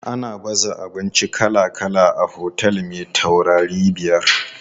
Ana baza abinci kala kala a otel me taurarai biyar.